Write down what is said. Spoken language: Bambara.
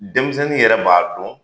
Denmisɛnnin yɛrɛ b'a dɔn.